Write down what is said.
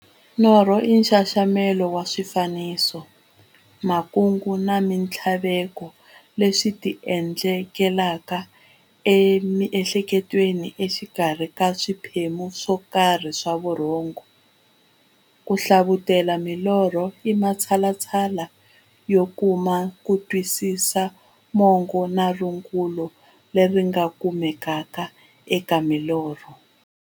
Norho i nxaxamelo wa swifaniso, makungu na minthlaveko leswi ti endlekelaka emiehleketweni exikarhi ka swiphemu swokarhi swa vurhongo. Ku hlavutela milorho i matshalatshala yo kuma kutwisisa mungo na rungula leri nga kumekaka eka milorho.